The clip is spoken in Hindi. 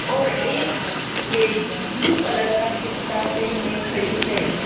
और एक लेडी ब्लू कलर का कुर्ता पहने खड़ी हैं।